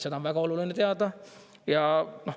Seda on väga oluline teada.